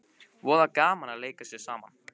Voða gaman að leika sér saman